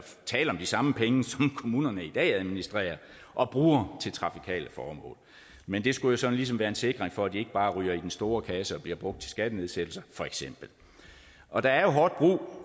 tale om de samme penge som kommunerne i dag administrerer og bruger til trafikale formål men det skulle så ligesom være en sikring for at de ikke bare ryger i den store kasse og bliver brugt til skattenedsættelser og der er jo hårdt brug